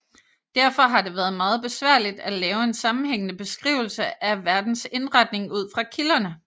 Derfor har det været meget besværligt at lave en sammenhængende beskrivelse af verdens indretning ud fra kilderne